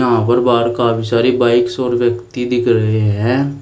यहां पर बाहर काफी सारी बाइक्स और व्यक्ति दिख रहे हैं।